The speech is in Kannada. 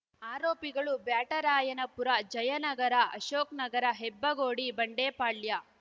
ಆರೋಪಿಗಳು ಬ್ಯಾಟರಾಯನಪುರ ಜಯನಗರ ಅಶೋಕ್ ನಗರ ಹೆಬ್ಬಗೋಡಿ ಬಂಡೆಪಾಳ್ಯ